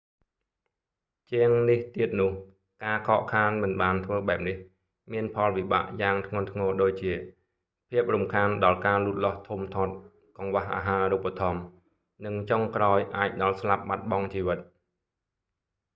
ជាងនេះទៀតនោះ ការខកខានមិនបានធ្វើបែបនេះ មានផលវិបាកយ៉ាងធ្ងន់ធ្ងរដូចជា៖ ភាពរំខានដល់ការលូតលាស់ធំធាត់ កង្វះអាហារូបត្ថម្ភ និងចុងក្រោយ អាចដល់ស្លាប់បាត់បង់ជីវិត